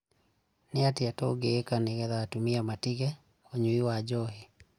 Nì atìa tũngììka nìguo atumia matige ũnyui wa njohi?